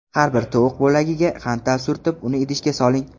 Har bir tovuq bo‘lagiga xantal surtib, uni idishga soling.